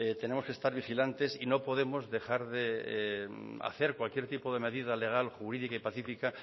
tenemos que estar vigilantes y no podemos dejar de hacer cualquier tipo de medida legal jurídica y pacífica